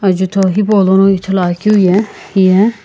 jutho hipaulono ithuluakeu ye hiye--